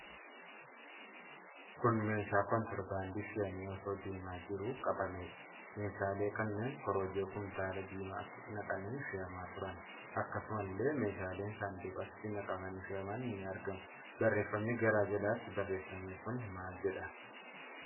Kun meeshaa kontirobaandii fe'amee osoo deemaa jiruu qabameedha. Meeshaalee kunnee Korojoo kumtaalaa diimatti naqamanii fe'amaa turani. Akkasumallee meeshaaleen saanduqatti naqamanii fe'aman ni argamu. Barreefami gara jalaatti barreeffame kun maal jedha?